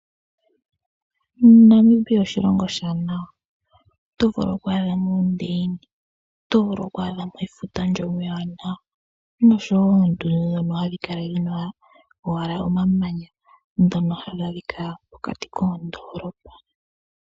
Namibia oshilongo oshiwanawa. Oto vulu okwaadha mo oondeyina, oto vulu okwaadha mo efuta ndyono ewanawa noshowo oondundu dhono hadhi kala dhina owala omamanya ndhono hadhi adhika pokati koondoolopa.